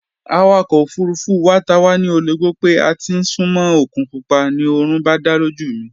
Awakọ̀ ofurufú wa ta wá ní ologbó pé a ti ń súnmó òkun pupa, ni oorun bá dá lójú mi